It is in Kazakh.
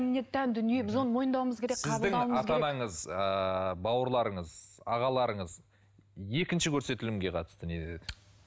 дүние біз оны мойындауымыз керек сіздің ата анаңыз ыыы бауырларыңыз ағаларыңыз екінші көрсетілімге қатысты не деді